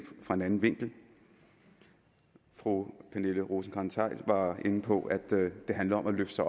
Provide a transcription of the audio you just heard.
fra en anden vinkel fru pernille rosenkrantz theil var inde på at det handler om at løfte sig